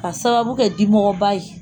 Ka sababu kɛ dimɔgɔba ye